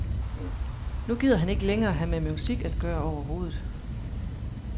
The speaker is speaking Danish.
Nu gider han ikke længere have med musik at gøre overhovedet.